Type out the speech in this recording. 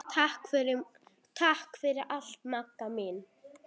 Takk fyrir allt Magga mín.